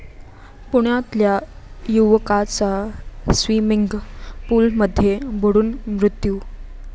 पुण्यातल्या युवकाचा स्वीमिंग पूलमध्ये बुडून मृत्यू